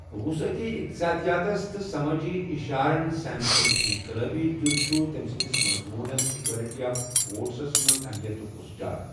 وُصعتی اِقتصٲدِ یاتس تہٕ سمٲجی ِاشارن سین سُند انقلٲبی دِیوُت چھُ تمہِ سندِس مضموُنس ایكولٹی آف وو٘ٹس منز'اہلِیتُك' وُژھجار۔